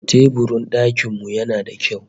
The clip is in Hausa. Teburin dakin mu yana da kyau